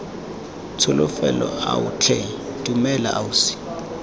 tsholofelo ao tlhe dumela ausi